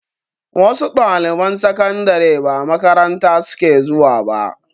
Wasu ɗaliban sakandare ba makaranta suke zuwa ba